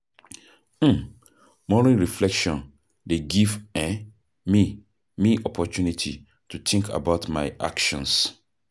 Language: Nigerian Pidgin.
um Morning reflection dey give um me me opportunity to think about my actions.